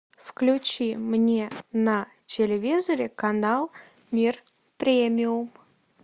включи мне на телевизоре канал мир премиум